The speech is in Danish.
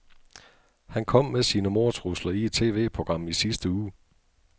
Han kom med sine mordtrusler i et TVprogram i sidste uge.